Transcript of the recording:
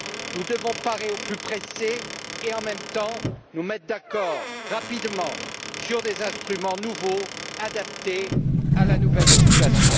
Nous devons parer au plus pressé et, en même temps, nous mettre d'accord rapidement sur des instruments nouveaux adaptés à la nouvelle situation.